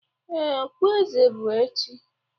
Ee, okpueze bụ echi.